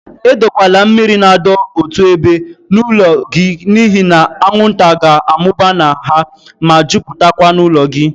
Edokwala mmiri na adọ otu ébé n'ụlọ gị n'ihi na anwụnta ga-amụba na ha, ma jupụtakwa n'ụlọ gị.